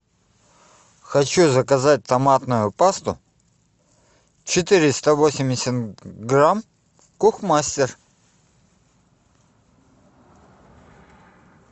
хочу заказать томатную пасту четыреста восемьдесят грамм кухмастер